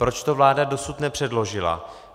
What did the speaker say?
Proč to vláda dosud nepředložila?